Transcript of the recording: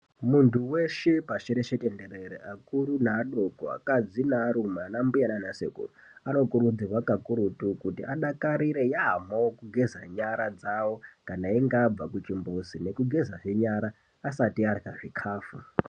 Muntu weshe pashi reshe tenderere, akuru neadoko, akadzi nearume, anambuya naanasekuru, anokurudzirwa kakurutu kuti adakarire yaamho kugeza nyara dzavo kana einge abva kuchimbuzu, nekugezahe nyara, kana einga asati arya chikhafu.